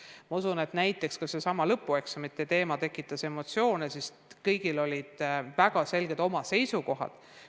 Ma usun, et ka lõpueksamite teema tekitas emotsioone, sest kõigil olid omad väga selged seisukohad.